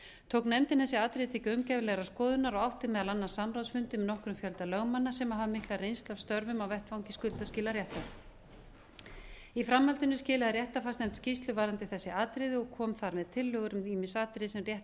tók nefndin þessi atriði til gaumgæfilegrar skoðunar og átti meðal annars samráðsfundi með nokkrum fjölda lögmanna sem hafa mikla reynslu af störfum á vettvangi skuldaskilaréttar í framhaldinu skilaði réttarfarsnefnd skýrslu varðandi þessi atriði og kom þar með tillögur um ýmis atriði sem rétt væri að breyta